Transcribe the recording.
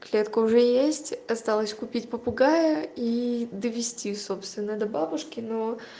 клетка уже есть осталось купить попугая и довести собственно до бабушки но